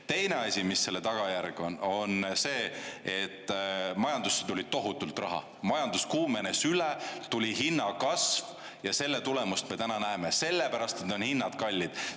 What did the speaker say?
Teine asi, mis selle tagajärg on, on see, et majandusse tuli tohutult raha, majandus kuumenes üle, tuli hinnakasv ja selle tulemust me täna näeme, selle pärast on hinnad kallid.